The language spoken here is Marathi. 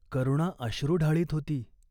करुणा अश्रु ढाळीत होती.